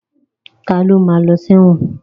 Ta ló ma lọ sí ẹ̀wọ̀n?